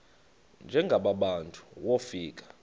njengaba bantu wofika